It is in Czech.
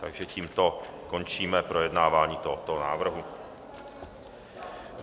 Takže tímto končíme projednávání tohoto návrhu.